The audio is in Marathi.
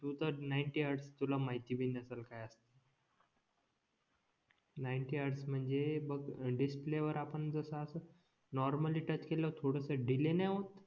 तू तर नाईंटी हेर्ड्स तुला माहिती भी नसेल काय असते नाईंटी हॅर्डस म्हणजे बघ डिस्प्ले वर आपण जस असं नॉर्मली टच केलं तर थोडस डिले नाय होत